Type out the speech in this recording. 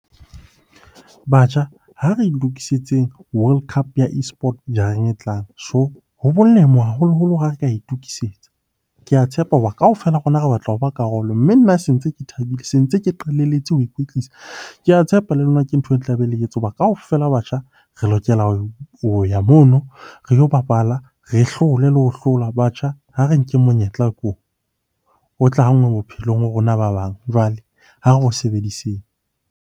Batjha, ha re lokisitseng World Cup ya eSports jareng e tlang. So, ho molemo haholoholo ha re ka itokisetsa. Ke a tshepa hore kaofela ha rona re batla hoba karolo, mme nna se ntse ke thabile, se ntse ke qalelletse ho ikwetlisa. Ke a tshepa le lona ke ntho e tlabe le ke etsa hoba kaofela batjha re lokela ho ya mono re yo bapala, re hlole le ho hlola. Batjha ha re nkeng monyetla ke ona, o tla ha nngwe bophelong ho rona ba bang. Jwale ha re o sebediseng.